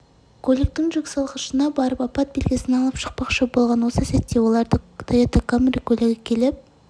көліктің жүксалғышына барып апат белгісін алып шықпақшы болған осы сәтте оларды тойота камри көлігі келіп